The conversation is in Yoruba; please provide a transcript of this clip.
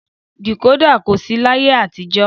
Dìkódà kò sí làyé àtijọ́